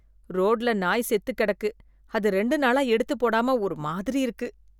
ரோட்ல நாய் செத்து கிடக்கு அது ரெண்டு நாளா எடுத்து போடாம ஒரு மாதிரி இருக்கு